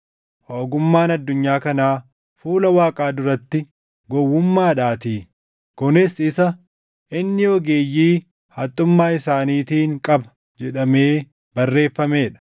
Ogummaan addunyaa kanaa fuula Waaqaa duratti gowwummaadhaatii. Kunis isa, “Inni ogeeyyii haxxummaa isaaniitiin qaba” + 3:19 \+xt Iyo 5:13\+xt* jedhamee barreeffamee dha.